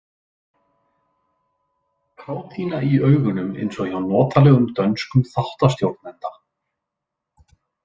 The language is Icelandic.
Kátína í augunum eins og hjá notalegum dönskum þáttastjórnanda.